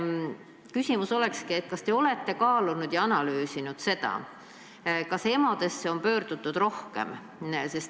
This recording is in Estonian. Küsimus olekski see: olete te kaalunud ja analüüsinud, kas EMO-desse on pöördutud rohkem?